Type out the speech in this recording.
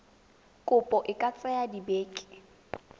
kopo e ka tsaya dibeke